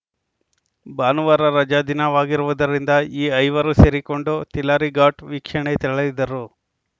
ಭಾನುವಾರ ರಜಾ ದಿನವಾಗಿರುವುದರಿಂದ ಈ ಐವರು ಸೇರಿಕೊಂಡು ತಿಲಾರಿ ಘಾಟ್‌ ವೀಕ್ಷಣೆ ತೆರಳಿದ್ದರು